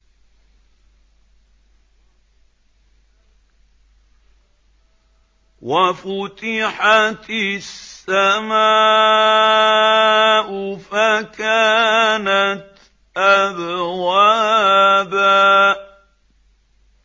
وَفُتِحَتِ السَّمَاءُ فَكَانَتْ أَبْوَابًا